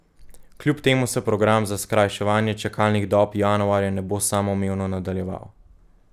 Kljub temu se program za skrajševanje čakalnih dob januarja ne bo samoumevno nadaljeval.